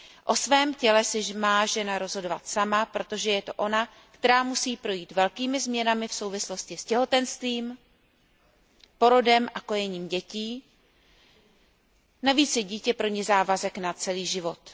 O svém těle si má žena rozhodovat sama, protože je to ona, která musí projít velkými změnami v souvislosti s těhotenstvím, porodem a kojením dětí, navíc je dítě pro ni závazek na celý život.